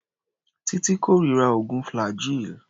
Títí kórira oògùn flaggyl.